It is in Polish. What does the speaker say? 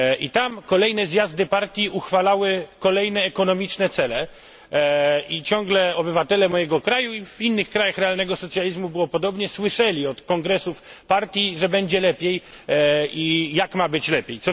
Tam kolejne zjazdy partii uchwalały kolejne ekonomiczne cele i ciągle obywatele mojego kraju w innych krajach realnego socjalizmu było podobnie słyszeli od kongresów partii, że będzie lepiej i jak ma być lepiej.